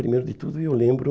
Primeiro de tudo, eu lembro...